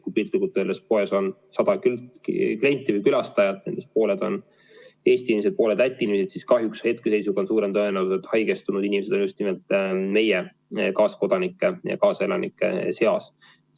Kui piltlikult öeldes poes on 100 klienti või külastajat, nendest pooled on Eesti inimesed, pooled Läti inimesed, siis kahjuks hetkeseisus on suurem tõenäosus, et haigestunud inimesed on just nimelt meie kaaskodanike, kaaselanike seas.